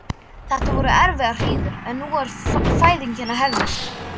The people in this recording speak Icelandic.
Þetta voru erfiðar hríðir en nú er fæðingin að hefjast.